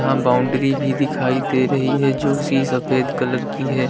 यहां बाउंड्री भी दिखाई दे रही है जो उसी सफेद कलर की है।